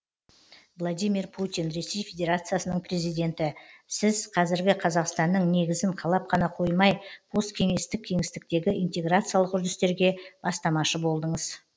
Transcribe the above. владимир путин ресей федерациясының президенті сіз қазіргі қазақстанның негізін қалап қана қоймай посткеңестік кеңістіктегі интеграциялық үрдістерге бастамашы болдыңыз